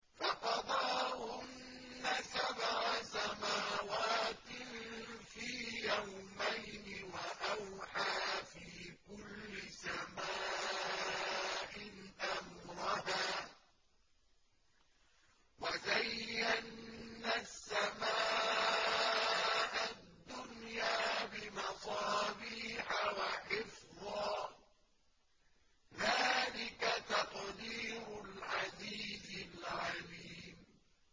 فَقَضَاهُنَّ سَبْعَ سَمَاوَاتٍ فِي يَوْمَيْنِ وَأَوْحَىٰ فِي كُلِّ سَمَاءٍ أَمْرَهَا ۚ وَزَيَّنَّا السَّمَاءَ الدُّنْيَا بِمَصَابِيحَ وَحِفْظًا ۚ ذَٰلِكَ تَقْدِيرُ الْعَزِيزِ الْعَلِيمِ